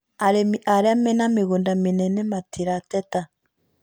Arĩmi arĩa mena mĩgũnda mĩnene matirateta